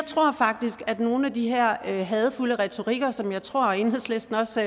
tror faktisk at nogle af de her hadefulde retoriker som jeg tror at enhedslisten også